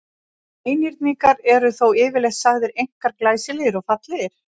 Einhyrningar eru þó yfirleitt sagðir einkar glæsilegir og fallegir.